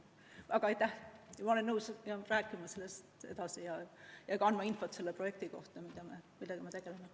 Aga ma olen nõus sellest edasi rääkima ja ka andma infot selle projekti kohta, millega me tegeleme.